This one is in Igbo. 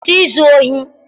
kwụsị izu ohi!